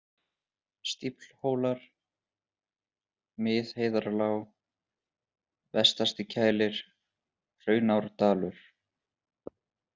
Stíflhólar, Miðheiðarlág, Vestastikælir, Hraunárdalur